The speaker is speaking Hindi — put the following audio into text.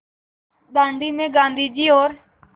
दाँडी में गाँधी जी और